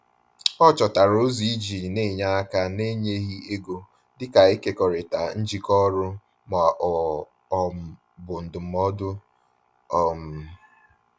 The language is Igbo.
Ọ chọtara ụzọ iji n'enye aka na-enyeghị ego, dịka ịkekọrịta njikọ ọrụ ma ọ um bụ ndụmọdụ. um